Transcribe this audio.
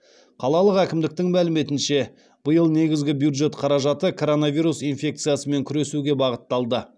қалалық әкімідіктің мәліметінше биыл негізгі бюджет қаражаты коронавирус инфекциясымен күресуге бағытталды